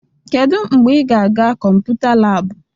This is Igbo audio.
Kedu mgbe ị ga-aga kọmputa laabụ?